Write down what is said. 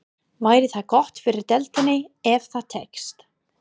Væri það gott fyrir deildina ef það tækist?